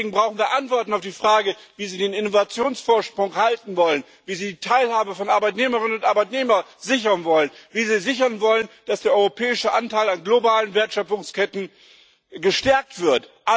Deswegen brauchen wir Antworten auf die Frage, wie Sie den Innovationsvorsprung halten wollen, wie Sie die Teilhabe von Arbeitnehmerinnen und Arbeitnehmern sichern wollen, wie Sie sichern wollen, dass der europäische Anteil an globalen Wertschöpfungsketten gestärkt wird.